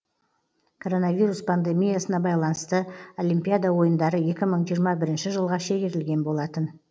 коронавирус пандемиясына байланысты олимпиада ойындары екі мың жиырма бірінші жылға шегерілген болатын